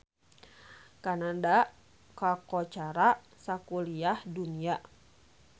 Kanada kakoncara sakuliah dunya